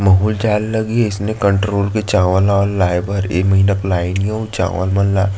बहुत ज्यादा लगी हे इसमें कण्ट्रोल के चावल उवल लगे हे इ महीना के चावल मन ला--